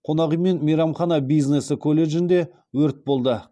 қонақ үй мен мейрамхана бизнесі колледжінде өрт болды